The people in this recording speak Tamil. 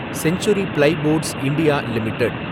century Plyboards India limited